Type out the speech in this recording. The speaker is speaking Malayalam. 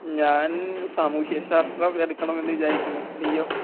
ഞാൻ സാമൂഹ്യ ശാസ്ത്രം എടുക്കണം എന്ന് വിചാരിക്കുന്നു, നീയോ?